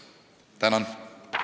Tänan!